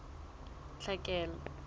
tlhekelo